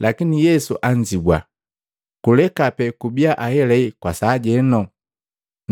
Lakini Yesu anzibua, “Kuleka pe kubia ahelahe kwa sajeno,